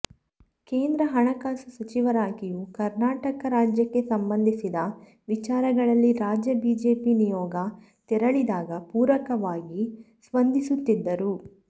ಕೇಂದ್ರ ಹಣಕಾಸು ಸಚಿವರಾಗಿಯೂ ಕರ್ನಾ ಟಕ ರಾಜ್ಯಕ್ಕೆ ಸಂಬಂಧಿಸಿದ ವಿಚಾರಗಳಲ್ಲಿ ರಾಜ್ಯ ಬಿಜೆಪಿ ನಿಯೋಗ ತೆರಳಿದಾಗ ಪೂರಕವಾಗಿ ಸ್ಪಂದಿ ಸುತ್ತಿದ್ದರು